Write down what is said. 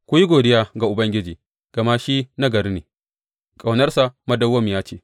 Ku yi godiya ga Ubangiji, gama shi nagari ne; ƙaunarsa madawwamiya ce.